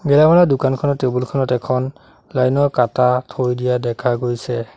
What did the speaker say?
গেলামালৰ দোকানখনৰ টেবুল খনত এখন লাইন ৰ কাটা থৈ দিয়া দেখা গৈছে।